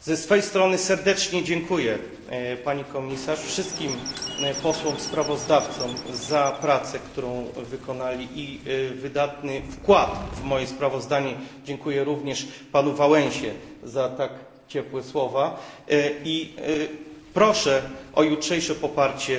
Ze swojej strony serdecznie dziękuję Pani Komisarz, wszystkim posłom sprawozdawcom za pracę, którą wykonali i wydatny wkład w moje sprawozdanie. Dziękuję również panu Wałęsie za tak ciepłe słowa i proszę o jutrzejsze poparcie